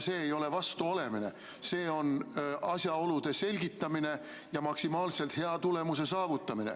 See ei ole vastu olemine, see on asjaolude selgitamine ja maksimaalselt hea tulemuse saavutamine.